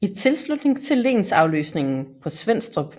I tilslutning til lensafløsningen på Svenstrup